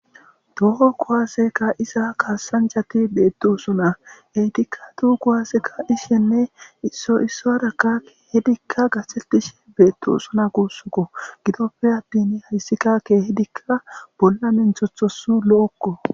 doho kowaaseka isa kaassanjati beettu usuna heytikka tu kowasekka ishenne isso isso hadakka keehidikka gathettishe beettu usuna kuussuko gidoppe adtin hayssika keehidikka bolla menthothos lo7okko